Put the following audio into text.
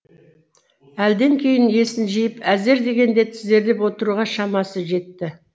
әлден кейін есін жиып әзер дегенде тізерлеп отыруға шамасы жетті